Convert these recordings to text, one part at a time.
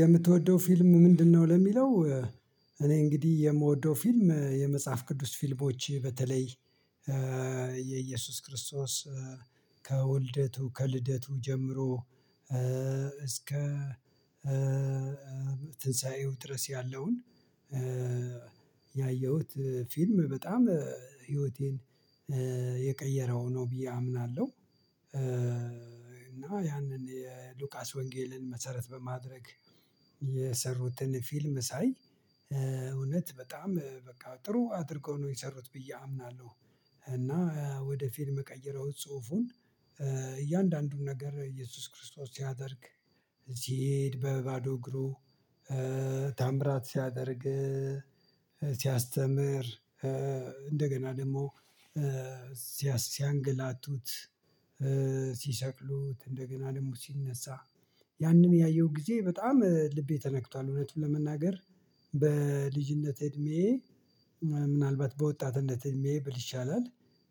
የምትወደው ፊልም ምንድነው? ለሚለው እኔ እንግዲህ የምወደው ፊልም የመጽሐፍ ቅዱስ ፊልሞች በተለይ የኢየሱስ ክርስቶስ ከዉልደቱ ከልደቱ ጀምሮ እስከ ትንሳኤው ድረስ ያለውን ያየሁት ፊልም በጣም ህይወቴን የቀየረው ነው ብዬ አምናለሁ እና ያንን የሉቃስ ወንጌልን መሰረት በማድረግ የሰሩትን ፊልም ሳይ እውነት በጣም በቃ ጥሩ አድርጎ ነው የሰሩት ብዬ አምናለሁ። እና ወደ ፊልም ቀይረው ጽሁፉን እያንዳንዱን ነገር ኢየሱስ ክርስቶስ ሲያደርግ ሲሄድ በባዶ እግሩ ተአምራት ሲያደርግ ሲያስተምር እንደገና ደግሞ ሲያሰ ሲያንገላቱት ሲሰቅሉት እንደገና ደግሞ ሲነሳ ያንን ያየው ጊዜ በጣም ልቤ ተነክቷል። እውነት ለመናገር በልጅነት እድሜ ምናልባት በወጣትነት እድሜ ብል ይሻላል።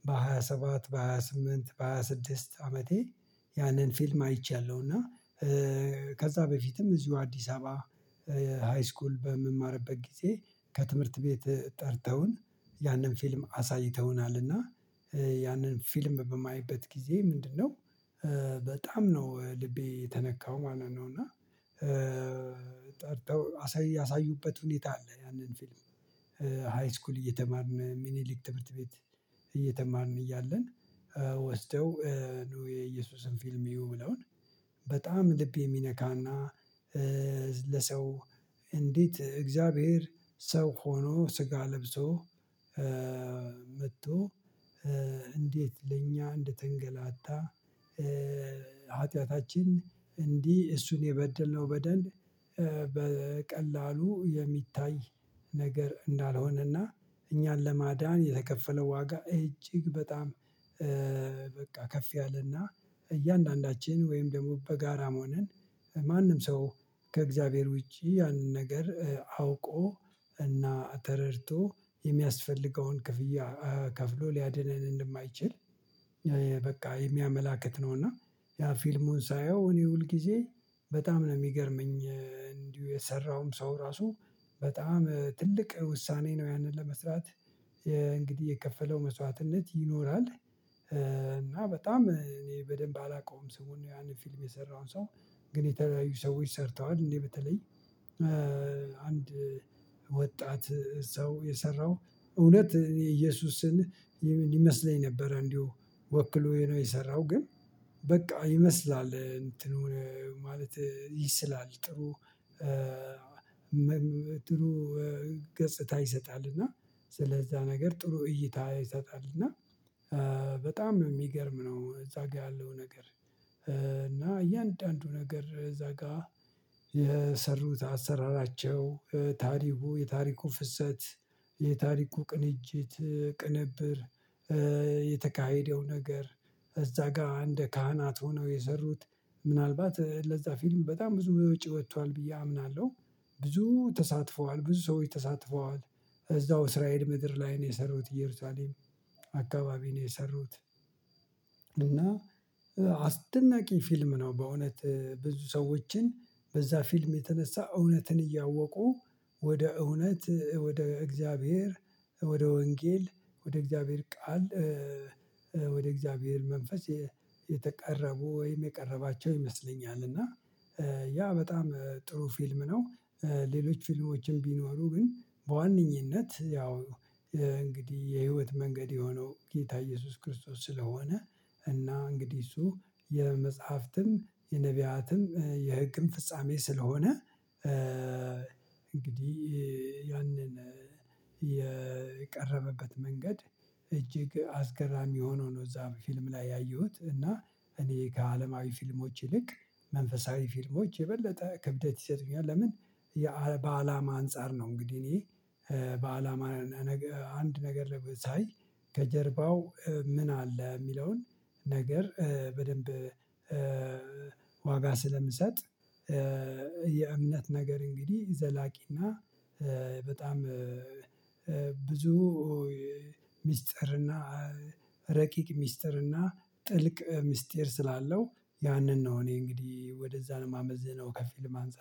በሃያ ሰባት በሃያ ስምንት በሃያ ስድስት አመቴ ያንን ፊልም አይቻለሁ እና ከዛ በፊትም እዚሁ አዲስ አበባ ሃይስኩል በምማርበት ጊዜ ከትምህርት ቤት ጠርተውን ያንን ፊልም አሳይተውናልና ያንን ፊልም በማይበት ጊዜ ምንድነው በጣም ነው ልቤ የተነካው ማለት ነው። እና ጠርተው ያሳዩበት ሁኔታ አለ። ያንን ፊልም ሃይስኩል እየተማርን ሚኒሊክ ትምህርት ቤት እየተማርን እያለን ወስደው ነው የኢየሱስን ፊልም እዩ ብለውን በጣም ልብ የሚነካና። ለሰው እንዴት እግዚአብሔር ሰው ሆኖ ስጋ ለብሶ መጥቶ እንዴት ለእኛ እንደተንገላታ ኃጢያታችን እንዲህ እሱን የበደልነው በደል በቀላሉ የሚታይ ነገር እንዳልሆነና እኛን ለማዳን የተከፈለው ዋጋ እጅግ በጣም በቃ ከፍ ያለና እያንዳንዳችን ወይም ደግሞ በጋራ መሆንን ማንም ሰው ከእግዚአብሔር ውጪ ያንን ነገር አውቆ እና ተረድቶ የሚያስፈልገውን ክፍያ ከፍሎ ሊያድነን እንደማይችል በቃ የሚያመላክት ነው። እና ያ ፊልሙን ሳየው እኔ ሁል ጊዜ በጣም ነው የሚገርመኝ እንዲሁ የሰራውም ሰው ራሱ በጣም ትልቅ ውሳኔ ነው። ያንን ለመስራት እንግዲህ የከፈለው መስዋዕትነት ይኖራል። እና በጣም እኔ በደንብ አላውቀውም ስሙን ያንን ፊልም የሰራውን ሰው። ግን የተለያዩ ሰዎች ሰርተዋል እኔ በተለይ አንድ ወጣት ሰው የሰራው እውነት እኔ ኢየሱስን ይመስለኝ ነበረ እንዲሁ ወክሎ የሰራው ግን በቃ ይመስላል እንትኑ ማለት ይስላል ጥሩ። ገጽታ ይሰጣል እና ስለዛ ነገር ጥሩ እይታ ይሰጣል እና በጣም የሚገርም ነው። እዛ ጋር ያለው ነገር እና እያንዳንዱ ነገር እዛጋ የሰሩት አሰራራቸው ታሪኩ የታሪኩ ፍሰት የታሪኩ ቅንጅት ቅንብር የተካሄደው ነገር። እዛ ጋር እንደ ካህናት ሆነው የሰሩት ምናልባት ለዛ ፊልም በጣም ብዙ ወጪ ወጥቷል ብዬ አምናለሁ። ብዙ ተሳትፈዋል ብዙ ሰዎች ተሳትፈዋል እዛው እስራኤል ምድር ላይ ነው የሰሩት እየሩሳሌም አካባቢ ነው የሰሩት። እና አስደናቂ ፊልም ነው። በእውነት ብዙ ሰዎችን በዛ ፊልም የተነሳ እውነትን እያወቁ ወደ እውነት ወደ እግዚአብሔር ወደ ወንጌል ወደ እግዚአብሔር ቃል ወደ እግዚአብሔር መንፈስ የቀረቡ ወይም የቀረባቸው ይመስለኛል። እና ያ በጣም ጥሩ ፊልም ነው። ሌሎች ፊልሞችም ቢኖሩ ግን በዋነኝነት ያው እንግዲህ የህይወት መንገድ የሆነው ጌታ ኢየሱስ ክርስቶስ ስለሆነ እና እንግዲህ እሱ የመጽሐፍትም የነብያትም የህግም ፍጻሜ ስለሆነ። እንግዲህ ያንን የቀረበበት መንገድ እጅግ አስገራሚ ሆኖ ነው። እዛ ፊልም ላይ ያየሁት እና እኔ ከአለማዊ ፊልሞች ይልቅ መንፈሳዊ ፊልሞች የበለጠ ክብደት ይሰጡኛል ለምን? በአላማ አንፃር ነው። እንግዲህ እኔ በአላማ አንድ ነገር ሳይ ከጀርባው ምን አለ የሚለውን ነገር በደንብ ዋጋ ስለምሰጥ። የእምነት ነገር እንግዲህ ዘላቂና በጣም ብዙ ሚስጥር እና ረቂቅ ሚስጥር እና ጥልቅ ሚስጥር ስላለው። ያንን ነው እኔ እንግዲህ ወደዛ ነው ማመዝነው ከፊልም አንፃር